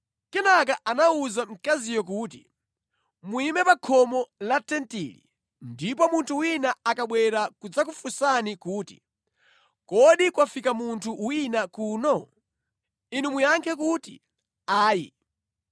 Kenaka anawuza mkaziyo kuti, “Muyime pa khomo la tentili, ndipo munthu wina akabwera kudzakufunsani kuti, ‘Kodi kwafika munthu wina kuno?’ Inu muyankha kuti, ‘Ayi.’ ”